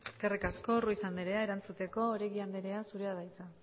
eskerrik asko ruiz andrea erantzuteko oregi anderea zurea da hitza